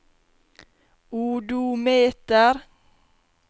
odometer